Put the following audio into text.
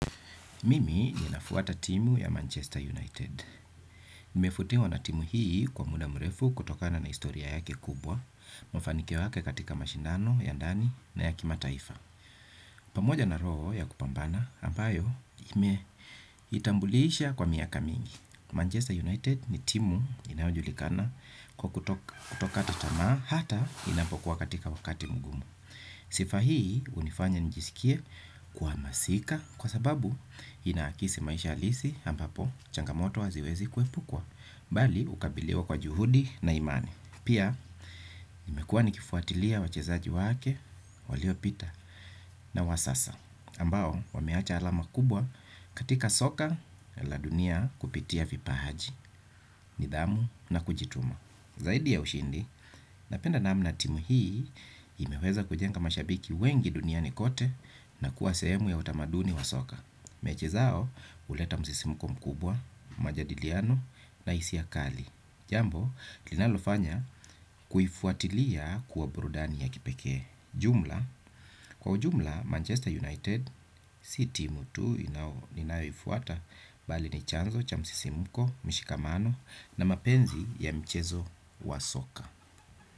Mimi ninafuata timu ya Manchester United. Nimevutiwa na timu hii kwa muda mrefu kutokana na historia yake kubwa, mafanikio yake katika mashindano, ya ndani na ya kimataifa. Pamoja na roho ya kupambana, ambayo imeitambulisha kwa miaka mingi. Manchester United ni timu inayojulikana kwa kutokata tamaa hata inapokuwa katika wakati mgumu. Sifa hii hunifanya nijisikie kuhamasika kwa sababu inaakisi maisha halisi ambapo changamoto haziwezi kuepukwa. Bali hukabiliwa kwa juhudi na imani. Pia nimekuwa nikifuatilia wachezaji wake waliopita na wa sasa ambao wameacha alama kubwa katika soka la dunia kupitia vipaji, nidhamu na kujituma. Zaidi ya ushindi, napenda namna timu hii imeweza kujenga mashabiki wengi duniani kote na kuwa sehemu ya utamaduni wa soka. Mechi zao huleta msisimko mkubwa, majadiliano na hisia kali. Jambo, linalofanya kuifuatilia kuwa burudani ya kipekee. Jumla, kwa ujumla Manchester United si timu tu ninayoifuata bali ni chanzo, cha msisimuko, mshikamano na mapenzi ya mchezo wa soka.